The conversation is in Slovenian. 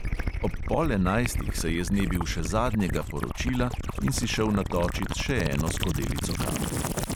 Ob pol enajstih se je znebil še zadnjega poročila in si šel natočit še eno skodelico kave.